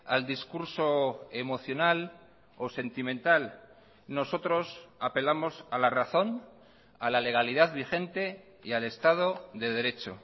al discurso emocional o sentimental nosotros apelamos a la razón a la legalidad vigente y al estado de derecho